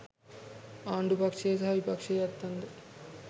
ආණ්ඩු පක්ෂයේ සහ විපක්ෂයේ ඇත්තන්ද